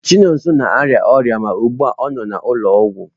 Chinonso na-arịa ọrịa ma ugbu a ọ nọ n'ụlọọgwụ.